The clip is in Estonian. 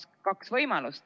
On kaks võimalust.